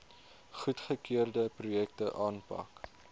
goedgekeurde projekte aanpak